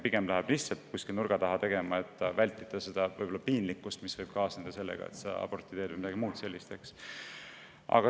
Pigem minnakse seda nurga taha tegema seetõttu, et vältida piinlikkust, mis võib abordi tegemisega kaasneda, või midagi muud sellist.